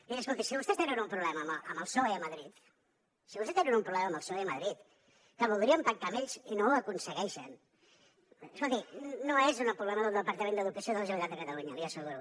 miri escolti si vostès tenen un problema amb el psoe a madrid si vostès tenen un problema amb el psoe a madrid que voldrien pactar amb ells i no ho aconsegueixen escolti no és un problema del departament d’educació de la generalitat de catalunya l’hi asseguro